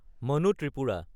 মানো ত্ৰিপুৰা